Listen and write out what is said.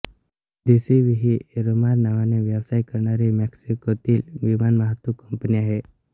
दि C V ही Aeromar नावाने व्यवसाय करणारी मेक्सिकोतील विमानवाहतूक कंपनी आहे